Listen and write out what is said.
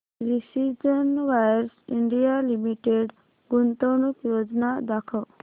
precision wires India limited गुंतवणूक योजना दाखव